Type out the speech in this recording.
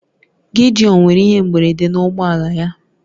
Gideon nwere ihe mberede na ụgbọ ala ya